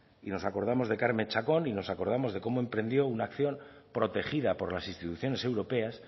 y nos acordamos de carme chacón y nos acordamos de cómo emprendió una acción protegida por las instituciones europeas